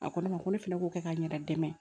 A ko ne ma ko ne fɛnɛ k'o kɛ ka n yɛrɛ dɛmɛ